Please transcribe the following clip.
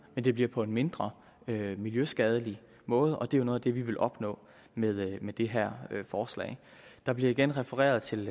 men det bliver på en mindre miljøskadelig måde og det er jo noget af det vi vil opnå med med det her forslag der bliver igen refereret til